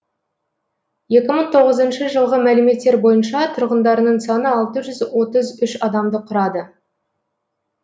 екі мың тоғызыншы жылғы мәліметтер бойынша тұрғындарының саны алты жүз отыз үш адамды құрады